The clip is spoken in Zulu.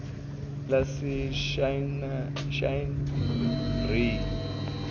laseshinerayi